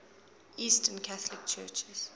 eastern catholic churches